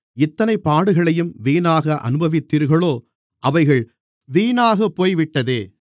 இத்தனை பாடுகளையும் வீணாக அனுபவித்தீர்களோ அவைகள் வீணாகப்போய்விட்டதே